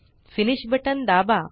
finish button दाबा